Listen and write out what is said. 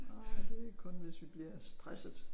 Nej det kun hvis vi bliver stressede